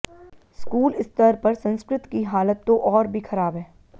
school स्तर पर संस्कृत की हालत तो और भी ख़राब है